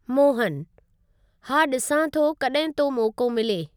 मोहनः हा ॾिसां थो कॾहिं तो मौको मिले।